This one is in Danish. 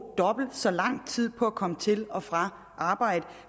dobbelt så lang tid på at komme til og fra arbejde